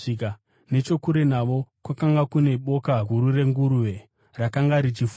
Nechokure navo, kwakanga kune boka guru renguruve rakanga richifura.